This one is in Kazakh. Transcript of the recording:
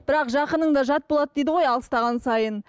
бірақ жақының да жат болады дейді ғой алыстаған сайын